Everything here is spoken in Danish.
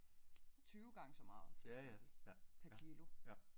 20 gange så meget for eksempel per kilo